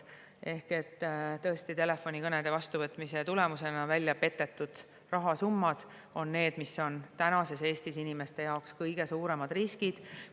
Ehk tõesti, telefonikõnede vastuvõtmise tõttu välja petetud rahasummad on praegu Eestis inimeste jaoks kõige suuremad riskid.